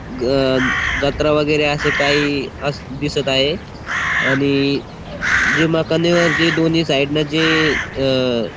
ग जत्रा वगेरे अस काही अस दिसत आहे आणि जिमा खान्यावरती जे दोन्ही साइड न जे अ --